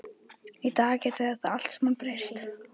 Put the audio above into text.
Í dag gæti þetta allt saman breyst.